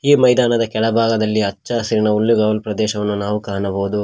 ಈ ಮೈದಾನದ ಕೆಳ ಭಾಗದಲ್ಲಿ ಹಚ್ಚ ಹಸಿರಿನ ಹುಲ್ಲು ಗಾವಲು ಪ್ರದೇಶವನ್ನು ನಾವು ಕಾಣಬಹುದು.